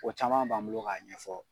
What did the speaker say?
O caman b'an bolo k'a ɲɛfɔ.